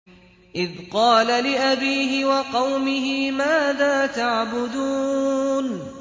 إِذْ قَالَ لِأَبِيهِ وَقَوْمِهِ مَاذَا تَعْبُدُونَ